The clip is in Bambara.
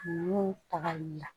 N'u tagali la